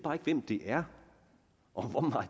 hvem det er og hvor